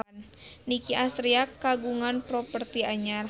Nicky Astria kagungan properti anyar